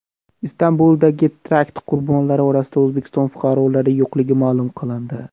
Istanbuldagi terakt qurbonlari orasida O‘zbekiston fuqarolari yo‘qligi ma’lum qilindi.